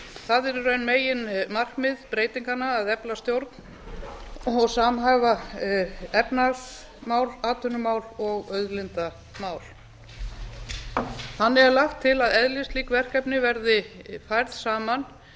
það er í raun meginmarkmið breytinganna að efla stjórn og samhæfa efnahagsmál atvinnumál og auðlindamál þannig er lagt til að eðlislík verkefni verði færð saman